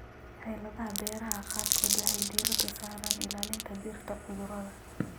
Xeeladaha beeraha qaarkood waxay diiradda saaraan ilaalinta dhirta cudurrada.